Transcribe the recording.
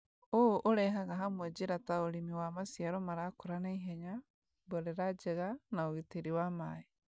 ũũ ũrehaga hamwe njĩra ta ũrĩmi wa maciaro marakũra naihenya, mborera njega, na ũgitĩri wa maĩ.